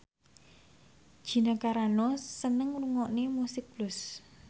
Gina Carano seneng ngrungokne musik blues